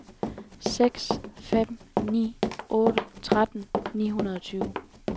seks fem ni otte tretten ni hundrede og tyve